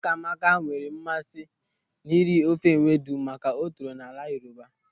Ụkamaka na-enwe mmasị n'iri ofe ewedu maka na o toro n'ala Yoruba.